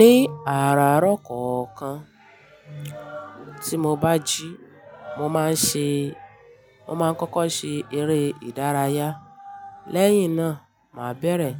Ní àárarọ kọ̀ọ̀kan tí mo bá jí, mo máa ń ṣe, mo máa ń kọ́kọ́ ṣe eré ìdárayá. Lẹ́yìn náà, màá bẹ̀rẹ̀